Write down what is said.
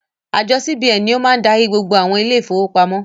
Àjọ CBN ni ó máa darí gbogbo àwọn ilé ìfowópamọ́.